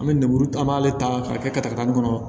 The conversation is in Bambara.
An bɛ lemuru an b'ale ta k'a kɛ kɔnɔ